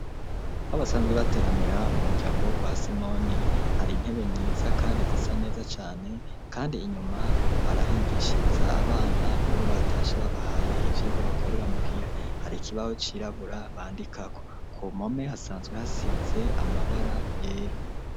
Aho basanzwe bateramira mu muryango wo kwa Simoni hari intebe nziza kandi zisa neza cane kandi inyuma barahigishiriza abana iyo batashe babahaye ivyirwa bako rera muhira hari ikibaho cirabura bandikako ku mpome hasanzwe hasize amabara yera.